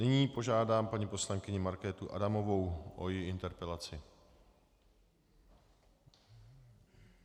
Nyní požádám paní poslankyni Markétu Adamovou o její interpelaci.